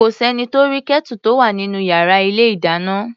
Kò s’ẹ́ni tó rí Kẹ́tù tó wà nínú yàrá ilé-ìdáná.